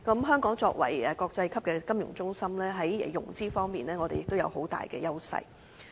香港作為國際級的金融中心，在融資方面，我們亦有很大優勢。